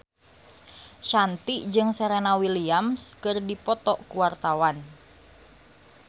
Shanti jeung Serena Williams keur dipoto ku wartawan